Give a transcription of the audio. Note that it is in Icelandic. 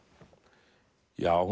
já